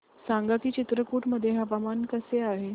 सांगा की चित्रकूट मध्ये हवामान कसे आहे